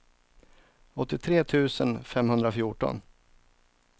åttiotre tusen femhundrafjorton